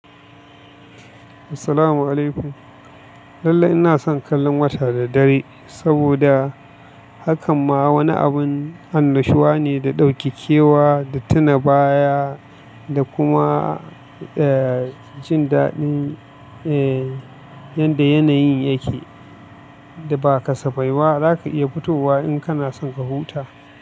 Assalamu alaikum. Lallai ina son kallon wasa da dare saboda hakan ma wani abun annashuwa ne da ɗaukakewa da tuna baya da kuma, eh, jin daɗin, eh, yadda yanayin yake da ba kasa bai ba. Zaka iya fitowa in kana son ka huta.